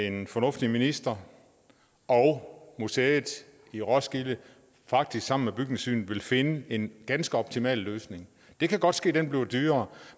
en fornuftig minister og museet i roskilde faktisk sammen med bygningssynet vil finde en ganske optimal løsning det kan godt ske den bliver dyrere